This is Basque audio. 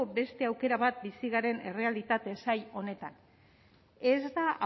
beste aukera bat bizi garen errealitate zail honetan ez da